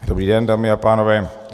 Dobrý den, dámy a pánové.